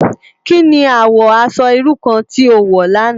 Ki ni àwò aṣò irú kàn ti ó wò làná?